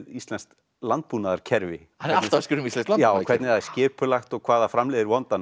íslenskt landbúnaðarkerfi já hvernig það er skipulagt og hvað það framleiðir vondan